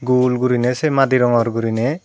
gul guriney se madi rongor guriney.